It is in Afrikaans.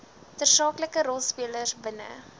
tersaaklike rolspelers binne